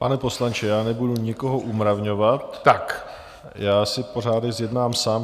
Pane poslanče, já nebudu nikoho umravňovat, já si pořádek zjednám sám.